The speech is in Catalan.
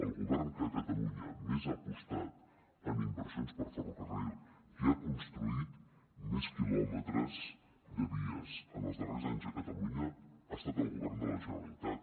el govern que a catalunya més ha apostat en inversions per a ferrocarril qui ha construït més quilòmetres de vies en els darrers anys a catalunya ha estat el govern de la generalitat